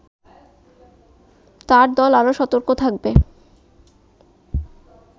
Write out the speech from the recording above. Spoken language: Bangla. তার দল আরো সতর্ক থাকবে